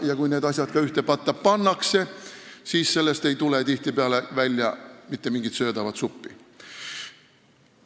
Ja kui need asjad ka ühte patta pannakse, siis sellest ei tule tihtipeale välja mingit söödavat suppi.